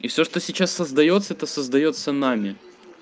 и всё что сейчас создаётся это создаётся нами